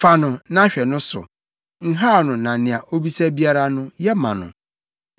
“Fa no na hwɛ no so; nhaw no na nea obisa biara no, yɛ ma no.”